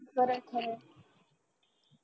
खर आहे खर आहे